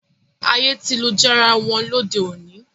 Ayé ti lu jára wọn lóde òní